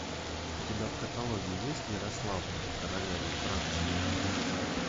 у тебя в каталоге есть ярославна королева франции